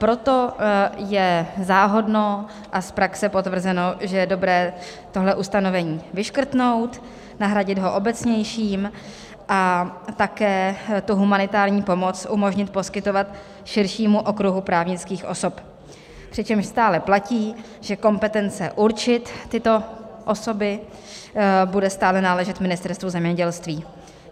Proto je záhodno a z praxe potvrzeno, že je dobré tohle ustanovení vyškrtnout, nahradit ho obecnějším a také tu humanitární pomoc umožnit poskytovat širšímu okruhu právnických osob, přičemž stále platí, že kompetence určit tyto osoby bude stále náležet Ministerstvu zemědělství.